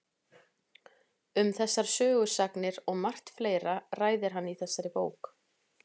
Um þessar sögusagnir og margt fleira ræðir hann í þessari bók.